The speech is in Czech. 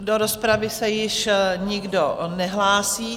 Do rozpravy se již nikdo nehlásí.